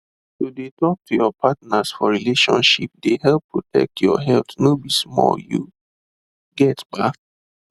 to de talk to your partners for relationships de help protect your health no be small you get ba